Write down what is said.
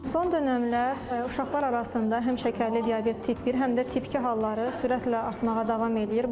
Son dönəmlər uşaqlar arasında həm şəkərli diabet tip bir, həm də tip iki halları sürətlə artmağa davam eləyir.